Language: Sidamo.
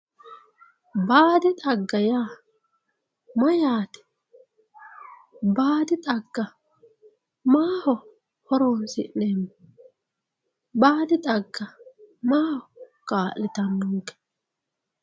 Baadi xagga yaa mayate baadi xagga maaho horonsineemo baadi xagga maaho kalitanonke?